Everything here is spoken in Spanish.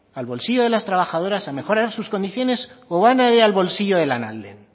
al bolsillo de las trabajadoras a mejorar sus condiciones o van a ir al bolsillo de lanalden